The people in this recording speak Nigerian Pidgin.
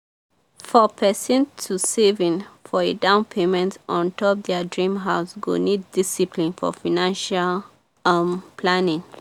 for persin to saving for a down payment on top their dream house go need discipline for financial um planning.